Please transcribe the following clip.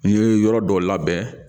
N ye yɔrɔ dɔ labɛn